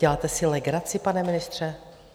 Děláte si legraci, pane ministře?